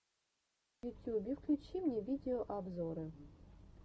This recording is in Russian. в ютюбе включи мне видеообзоры